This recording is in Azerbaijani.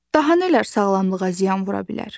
Daha nələr sağlamlığa ziyan vura bilər?